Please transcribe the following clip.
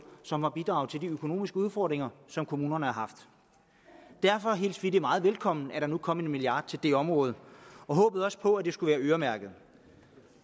som har bidraget til de økonomiske udfordringer som kommunerne har haft derfor hilste vi vi meget velkommen at der nu kom en milliard kroner til det område og håbede også på at de skulle være øremærkede